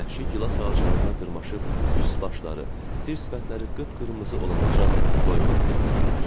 Vəhşi gilas ağaclarına dırmaşıb, üst-başları, sir-sifətləri qıpqırmızı olanaacan doymaq bilməzdilər.